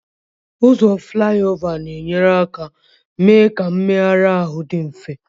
Ụzọ Flyover na-enyere aka mee ka mmegharị ahụ dị mfe.